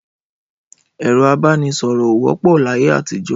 Ẹrọ àbánisọrọ ò wòpó làyé àtijọ